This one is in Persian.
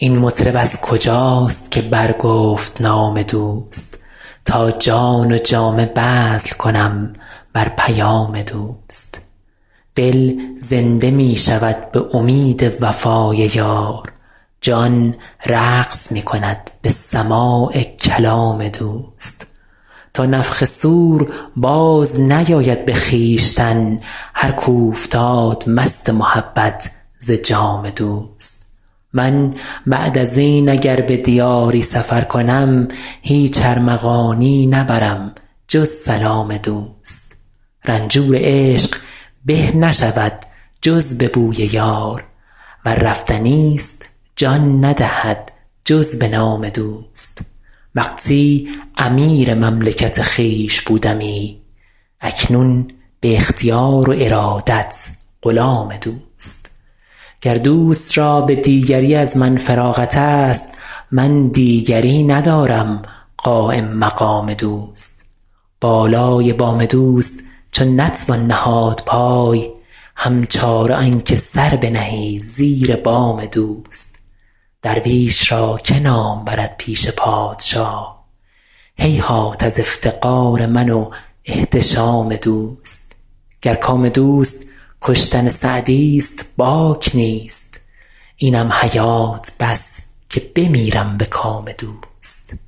این مطرب از کجاست که برگفت نام دوست تا جان و جامه بذل کنم بر پیام دوست دل زنده می شود به امید وفای یار جان رقص می کند به سماع کلام دوست تا نفخ صور بازنیاید به خویشتن هر کاو فتاد مست محبت ز جام دوست من بعد از این اگر به دیاری سفر کنم هیچ ارمغانیی نبرم جز سلام دوست رنجور عشق به نشود جز به بوی یار ور رفتنی ست جان ندهد جز به نام دوست وقتی امیر مملکت خویش بودمی اکنون به اختیار و ارادت غلام دوست گر دوست را به دیگری از من فراغت ست من دیگری ندارم قایم مقام دوست بالای بام دوست چو نتوان نهاد پای هم چاره آن که سر بنهی زیر بام دوست درویش را که نام برد پیش پادشاه هیهات از افتقار من و احتشام دوست گر کام دوست کشتن سعدی ست باک نیست اینم حیات بس که بمیرم به کام دوست